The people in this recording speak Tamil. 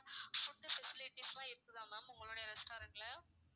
food facilities லாம் இருக்குதா ma'am உங்களுடைய restaurant ல